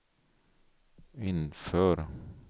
inför